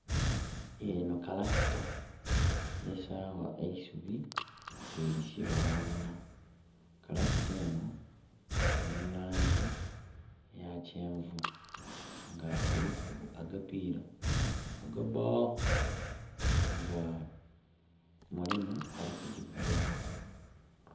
Enho kalakita esaagha eisubi bwelisiba aghalala. Kalakita enho eli mu laangi eya kyenvu. Nga eliku agapiira agaba, nga mulimu ali kugyivuga.